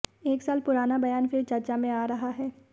एक साल पुराना बयान फिर चर्चा में आ रहा है